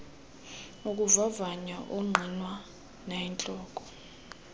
ukuvavanya ongqinwa nayintloko